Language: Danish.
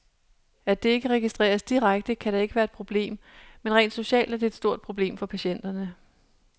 At det ikke registreres direkte, kan da ikke være et problem, men rent socialt er det et stort problem for patienterne.